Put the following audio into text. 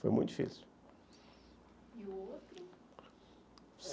Foi muito difícil. E o outro...?